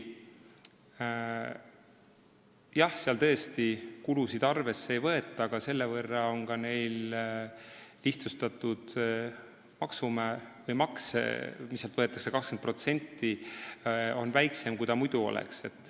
Jah, seal tõesti kulusid arvesse ei võeta, aga selle võrra on neilt võetav maks 20% väiksem, kui see muidu oleks.